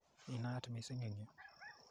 Inaat missing eng' yu.